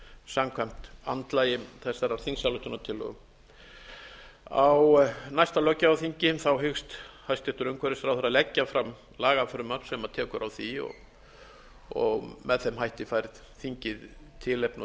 samkvæmt andlagi þessarar þingsályktunartillögu á næsta löggjafarþingi hyggst hæstvirtur umhverfisráðherra leggja fram lagafrumvarp sem tekur á því og með þeim hætti fær þingið tilefni og